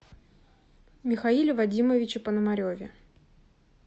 михаиле вадимовиче пономареве